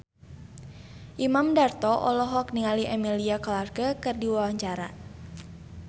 Imam Darto olohok ningali Emilia Clarke keur diwawancara